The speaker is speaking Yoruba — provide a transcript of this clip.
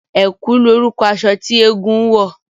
Ẹ̀kú lorúkọ aṣọ tí eégún ń wọ̀